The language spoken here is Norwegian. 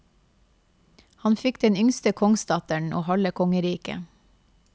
Han fikk den yngste kongsdatteren og halve kongeriket.